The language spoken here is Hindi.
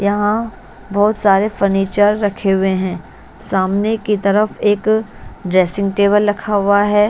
यहाँ बहुत सारे फर्नीचर रखे हुए हैं सामने की तरफ एक ड्रेसिंग टेबल रखा हुआ है।